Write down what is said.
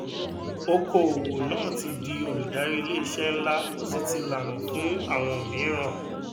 oko òwò náà ti di olùdarí ilé iṣẹ ńlá ó sì ti lànà fún àwon mìíràn